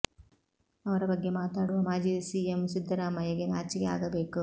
ಅವರ ಬಗ್ಗೆ ಮಾತಾಡುವ ಮಾಜಿ ಸಿಎಂ ಸಿದ್ದರಾಮಯ್ಯ ಗೆ ನಾಚಿಕೆ ಆಗಬೇಕು